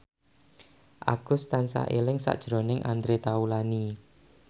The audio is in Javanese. Agus tansah eling sakjroning Andre Taulany